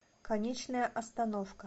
конечная остановка